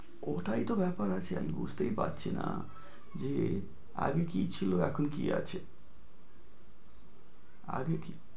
ওটাই তো ব্যাপার আছে, আমি বুঝতেই পারছিনা যে আগে কি ছিল এখন কি আছে? আগে কি